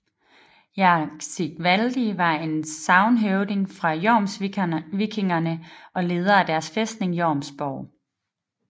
Jarl Sigvaldi var en sagnhøvding fra jomsvikingerne og leder af deres fæstning Jomsborg